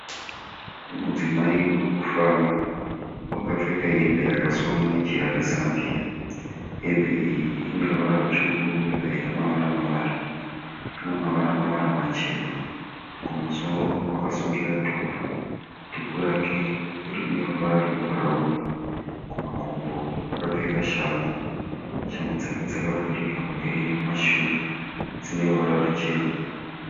Mudzimai urikufamba. Wakapfeka hembe yakasonwa nejira rezambia. Hembe iyi ineruvara rutsvuku yobva yaita mavara mavara. Ina mavara mavara machena .kumusoro wakasungira dhuku . Dhuku rake rine ruvara rwe bhurauni. Kumakumbo wakapfeka shangu. Shangu dzake dzakavhurika kumberi nekumashure. Dzineruvara ruchena.